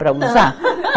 Para usar.